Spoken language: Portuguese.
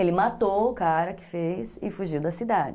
Ele matou o cara que fez e fugiu da cidade.